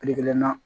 Kile kelen na